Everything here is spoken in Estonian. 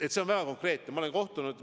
See on väga konkreetne ettepanek.